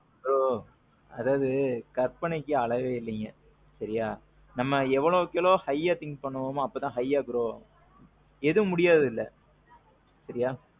bro. அதாவது கற்பனைக்கு அளவே இல்லிங்க. சரியா. நம்ம எவ்வளவுக்கேவ்ளோ highஆ think பண்றோமோ அப்போதான் highஆ grow ஆவோம். எதுவும் முடியாதது இல்ல. சரியா.